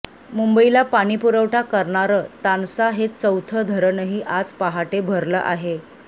मुंबईला पाणीपुरवठा करणारं तानसा हे चौथं धरणही आज पहाटे भरलं आहे